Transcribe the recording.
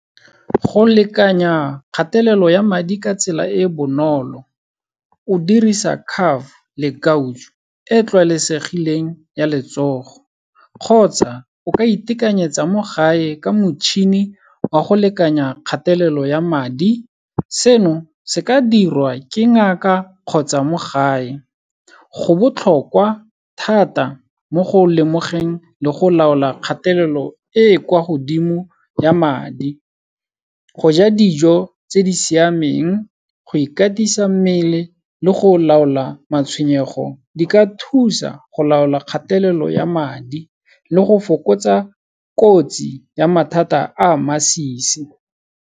Go lekanya kgatelelo ya madi ka tsela e e bonolo, o dirisa curf le kauso e tlwaelesegileng ya letsogo, kgotsa o ka itekanetse mo gae ka motšhini wa go lekanya kgatelelo ya madi. Seno se ka dirwa ke ngaka kgotsa mo gae, go botlhokwa thata mo go lemogeng le go laola kgatelelo e e kwa godimo ya madi. Go ja dijo tse di siameng, go ikatisa mmele le go laola matshwenyego, di ka thusa go laola kgatelelo ya madi le go fokotsa kotsi ya mathata a masisi.